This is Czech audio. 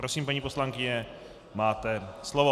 Prosím, paní poslankyně, máte slovo.